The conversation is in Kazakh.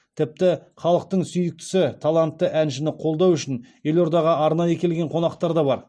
тіпті халықтың сүйіктісі талантты әншіні қолдау үшін елордаға арнайы келген қонақтар да бар